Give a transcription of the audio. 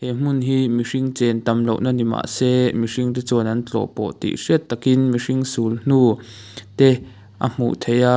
he hmun hi mihring chen tam lohna ni mahse mihring te chuan an tlawh pawh thih hriat takin sul hnu te a hmuh theih a.